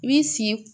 I b'i sigi